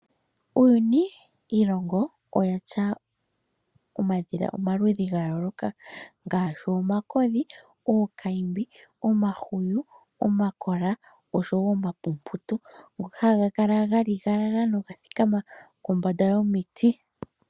Uuyuni iilongo oyatya omadhila omaludhi ga yooloka okakulu, omahwiyu, omakola, okakodhi oshowo omapumbutu ngoka haga kala thikama nogaligalala kombanda yomiti.